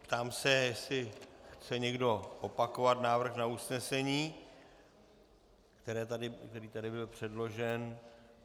Ptám se, jestli chce někdo opakovat návrh na usnesení, které tady bylo předloženo.